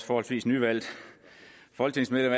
forholdsvis nyvalgt folketingsmedlem